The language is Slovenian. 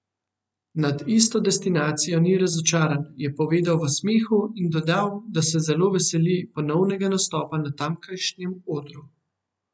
Nad isto destinacijo ni razočaran, je povedal v smehu in dodal, da se zelo veseli ponovnega nastopa na tamkajšnjem odru.